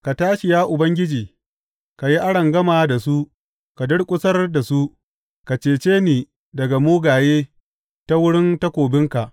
Ka tashi, ya Ubangiji, ka yi arangama da su, ka durƙusar da su; ka cece ni daga mugaye ta wurin takobinka.